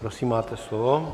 Prosím, máte slovo.